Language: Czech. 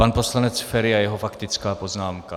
Pan poslanec Feri a jeho faktická poznámka.